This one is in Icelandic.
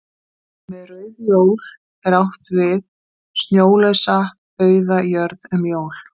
Með rauð jól er því átt við snjólausa auða jörð um jól.